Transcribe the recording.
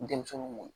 Denmisɛnninw mɔn